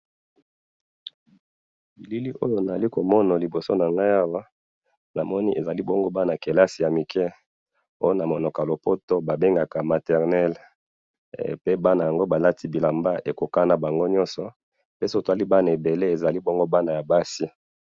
Bilili oya naza komona liboso nanga awa ezabana muke balati bilamba ya clace kasi baza bana mwasi